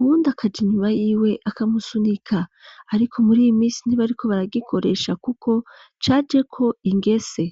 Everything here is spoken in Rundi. wundakaje inyuma y'iwe akamusunika, ariko mur'iy'imisi ntibariko baragikoresha kuko cajeko ingese.